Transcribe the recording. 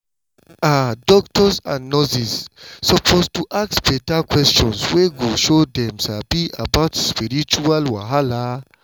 ah doctors and nurses suppose to ask beta questions wey go show dem sabi about spiritual wahala.